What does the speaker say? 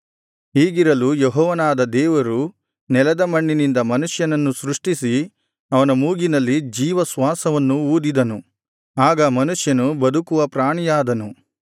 ಹೀಗಿರಲು ಯೆಹೋವನಾದ ದೇವರು ನೆಲದ ಮಣ್ಣಿನಿಂದ ಮನುಷ್ಯನನ್ನು ಸೃಷ್ಟಿಸಿ ಅವನ ಮೂಗಿನಲ್ಲಿ ಜೀವಶ್ವಾಸವನ್ನು ಊದಿದನು ಆಗ ಮನುಷ್ಯನು ಬದುಕುವ ಪ್ರಾಣಿಯಾದನು